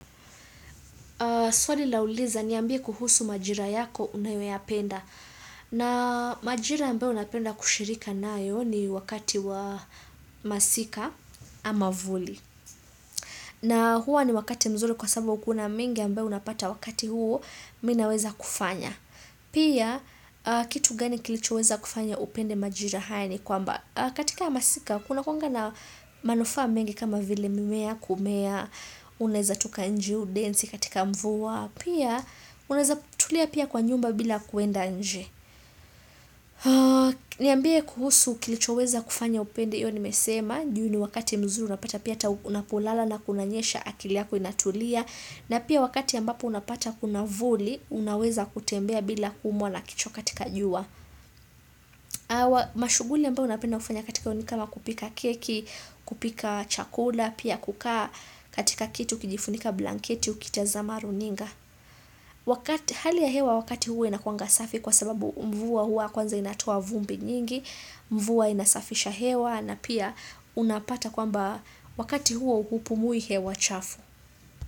Swali lauliza niambie kuhusu majira yako unayoyapenda. Naam majira ambayo napenda kushirika nayo ni wakati wa masika ama vuli na huwa ni wakati mzuri kwa sababu kuna mengi ambayo unapata wakati huo, mimi naweza kufanya. Pia kitu gani kilichoweza kufanya upende majira haya ni kwamba katika masika kuna kuanga na manufaa mengi kama vile mimea kumea unaweza toka nje udensi katika mvua, pia unaweza tulia pia kwa nyumba bila kuenda nje. Niambie kuhusu kilichoweza kufanya upende. Hiyo nimesema juu ni wakati mzuri unapata pia hata unapolala na kunanyesha akili yako inatulia. Na pia wakati ambapo unapata kuna vuli unaweza kutembea bila kuumwa na kichwa katika jua Mashughuli ambayo napenda kufanya katika, ni kama kupika keki kupika chakula, pia kukaa katika kitu ukijifunika blanketi ukitazama runinga, wakati Hali ya hewa wakati huo inakuanga safi kwa sababu mvua huwa kwanza inatoa vumbi nyingi Mvua inasafisha hewa na pia unapata kwamba wakati huo hupumui hewa chafu.